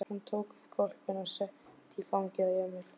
Hún tók hvolpinn upp og setti í fangið á Emil.